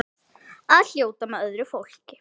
Að fljóta með öðru fólki.